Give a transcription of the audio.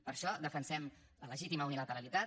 per això defensem la legítima unilateralitat